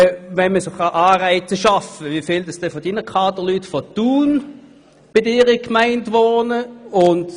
Wie viele Kaderleute der Gemeinde Thun wohnen tatsächlich in Thun?